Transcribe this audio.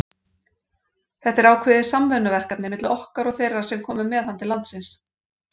Þetta er ákveðið samvinnuverkefni milli okkar og þeirra sem komu með hann til landsins.